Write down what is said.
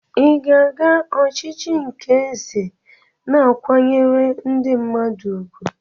Ị ga-aga ochichi nke eze na-akwanyere ndi mmadu ùgwù?